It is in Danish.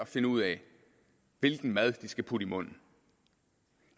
finde ud af hvilken mad de skal putte i munden